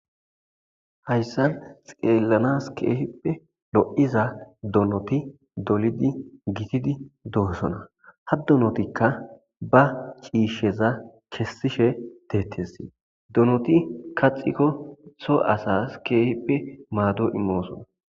Hayssan xeelanas kehippe lo'iza donoti dolidi gitidi dossona. Ha donotika ba c'iisha kesishe de'etes. Donoti kaxikko so asas kehippe mado imossona.